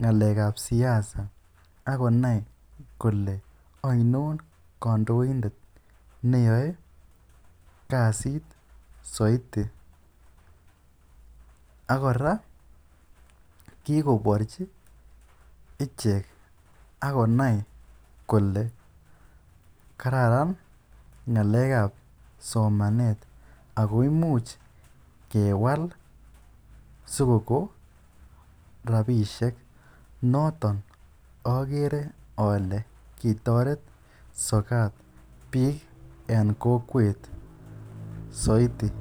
ng'alekab siasa ak konai kole ainon kondoindet neyoe kasit soiti ak kora kigoborji ichek ak konai kole kararan ng'alekab somanet ago imuch kewal sikokon rabishek. Noton ogere ole kitoret sokat biik en kokwet soiti.